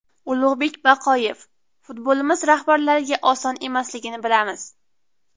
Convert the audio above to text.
Ulug‘bek Baqoyev: Futbolimiz rahbarlariga oson emasligini bilamiz.